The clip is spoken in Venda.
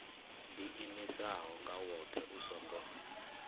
ḓiimisaho nga woṱhe u songo